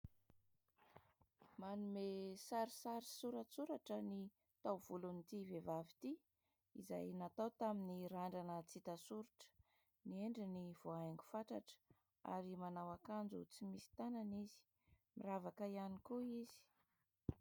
Manome sarisary soratsoratra ny taovolon'ity vehivavy ity izay natao tamin'ny randrana tsy hita soritra, ny endriny voahaingo fatratra ary manao akanjo tsy misy tanana izy, miravaka ihany koa izy.